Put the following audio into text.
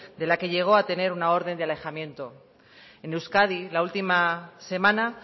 de la que llegó a tener una orden de alejamiento en euskadi la última semana